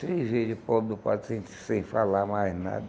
Três vezes o pobre do padre sem falar mais nada.